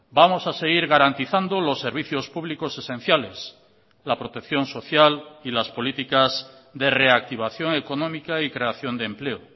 vamos a seguir garantizando los servicios públicos esenciales la protección social y las políticas de reactivación económica y creación de empleo